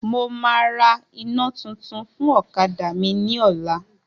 Mo máa ra iná tuntun fún ọ̀kadà mi ní ọ̀la